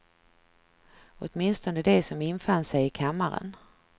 Åtminstone de som infann sig i kammaren.